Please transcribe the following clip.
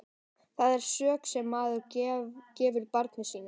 Það er sök sem maður gefur barni sínu.